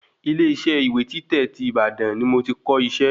Ile isẹ́ ìwé títẹ̀ tí Ìbàdàn ni mo ti kọ isẹ́